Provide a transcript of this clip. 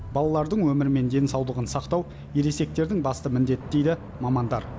балалардың өмірі мен денсаулығын сақтау ересектердің басты міндеті дейді мамандар